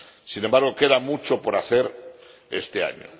Sin embargo, queda mucho por hacer este año.